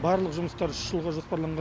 барлық жұмыстар үш жылға жоспарланған